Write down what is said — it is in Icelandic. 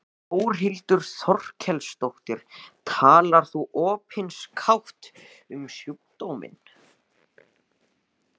Þórhildur Þorkelsdóttir: Talar þú opinskátt um sjúkdóminn?